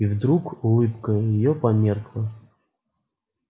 и вдруг улыбка её померкла